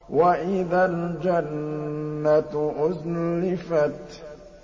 وَإِذَا الْجَنَّةُ أُزْلِفَتْ